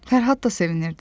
Fərhad da sevinirdi.